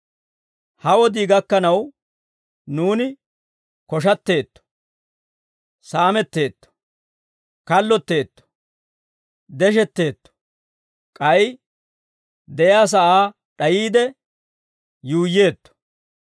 Ha wodii gakkanaw, nuuni koshatteetto; saametteetto; kallotteetto; deshetteetto. K'ay de'iyaa sa'aa d'ayiide yuuyyeetto.